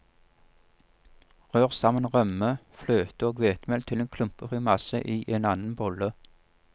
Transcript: Rør sammen rømme, fløte og hvetemel til klumpefri masse i en annen bolle.